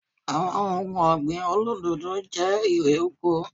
Àwọn ohun ọ̀gbìn olódòdó jẹ́ erè oko